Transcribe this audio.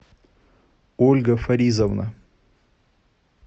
ольга фаризовна